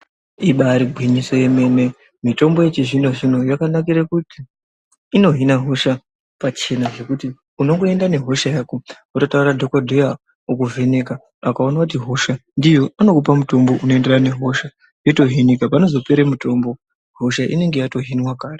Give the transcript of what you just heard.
Ibaari gwinyiso yemene, mitombo yechizvinozvino yakanakire kuti inohina hosha pachena zvekuti unongoenda nehosha yako wotaurira dhokodheya okuvheneka akaone kuti hosha ndiyo unokupe mutombo unoenderana nehosha yotohinika, panozopere mutombo hosha inonga yatohinwa kare